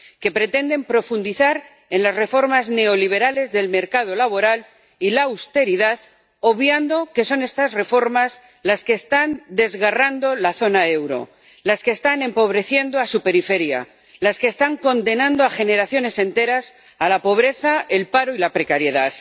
que pretenden profundizar en las reformas neoliberales del mercado laboral y la austeridad, obviando que son estas reformas las que están desgarrando la zona euro, las que están empobreciendo a su periferia, las que están condenando a generaciones enteras a la pobreza, el paro y la precariedad.